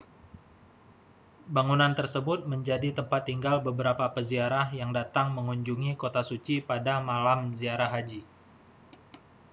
bangunan tersebut menjadi tempat tinggal beberapa peziarah yang datang mengunjungi kota suci pada malam ziarah haji